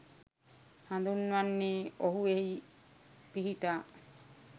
හඳුන්වන්නේ ඔහු එහි පිහිටා